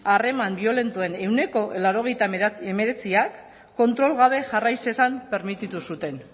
harreman biolentoen ehuneko laurogeita hemeretzi kontrol gabe jarrai zezan permititu zuten